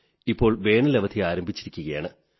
ഇപ്പോൾ വേനലവധി ആരംഭിച്ചിരിക്കയാണ്